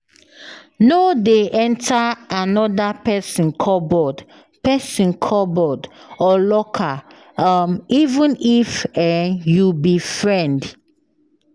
um No dey enter another person cupboard person cupboard or locker, um even if um you be friend.